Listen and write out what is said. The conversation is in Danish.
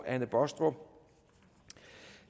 anne baastrup